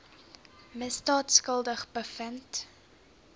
misdaad skuldig bevind